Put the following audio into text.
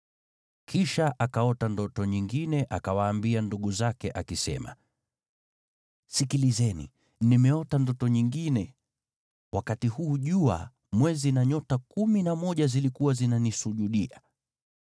Kisha akaota ndoto nyingine, akawaambia ndugu zake akisema, “Sikilizeni, nimeota ndoto nyingine, wakati huu jua, mwezi na nyota kumi na moja zilikuwa zinanisujudia.”